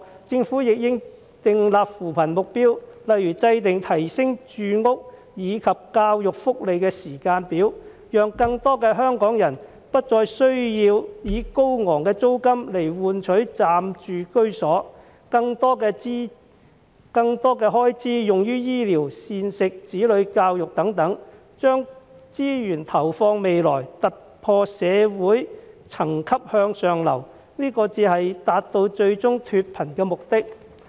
政府亦應訂立扶貧目標，例如制訂提升住屋以及教育、福利的時間表，讓更多香港人不再需要以高昂的租金來換取暫住居所，可將更多的開支用於醫療、膳食、子女教育等，將資源投放未來，突破社會層級，向上流動，這才能達致最終脫貧的目的。